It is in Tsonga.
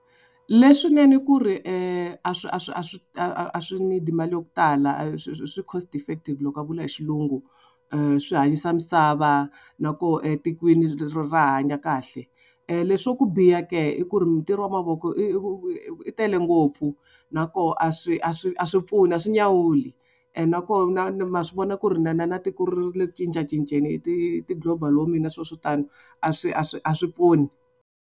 Leswinene ku ri a swi a swi a swi a swi need-i mali ya ku tala swi cost effective loko va vula hi xilungu. Swi hanyisa misava, na koho etikweni ri ra hanya kahle. Leswa ku biha ke i ku ri mintirho ya mavoko yi tele ngopfu nakoho a swi a swi a swi pfuni a swi nyawuli and nakoho ma swi vona ku ri na tiko rile ku cincacinceni hi ti global warming na swilo swo tani, a swi a swi a swi pfuni.